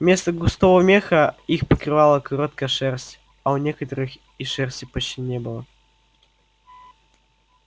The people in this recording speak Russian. вместо густого меха их покрывала короткая шерсть а у некоторых и шерсти почти не было